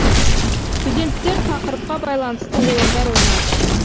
студенттер тақырыпқа байланысты ойындар ойнады